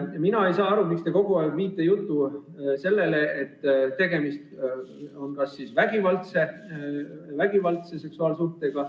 Mina ei saa aru, miks te viite kogu aeg jutu sellele, kas tegemist on vägivaldse seksuaalsuhtega.